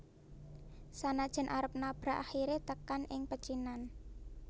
Sanajan arep nabrak akhire tekan ing pecinan